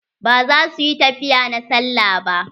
Ba za su yi tafiya na sallah ba.